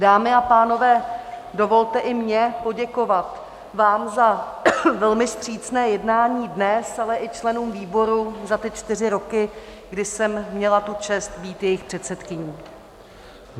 Dámy a pánové, dovolte i mně poděkovat vám za velmi vstřícné jednání dnes, ale i členům výboru za ty čtyři roky, kdy jsem měla tu čest být jejich předsedkyní.